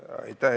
Aitäh!